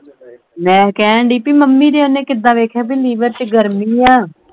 ਮੈਂ ਕਹਿਣ ਢਈ ਬਈ ਮੰਮੀ ਦੇ ਉਹਨੇ ਕਿੱਦਾਂ ਵੇਖਿਆ ਬਈ liver ਵਿਚ ਗਰਮੀ ਐ।